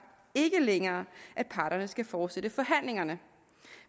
ikke længere at parterne skal fortsætte forhandlingerne